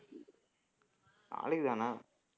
நாளைக்குத்தான